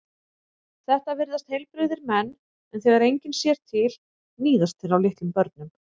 Þetta virðast heilbrigðir menn en þegar enginn sér til níðast þeir á litlum börnum.